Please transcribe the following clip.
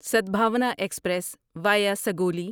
Sadbhavna express via Sugauli